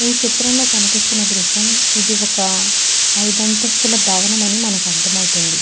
ఈ చిత్రం లో కనిపిస్తున్న దృశ్యం ఇది ఒక ఐదంతస్తుల భవనం అని మనకర్ధం అవుతుంది.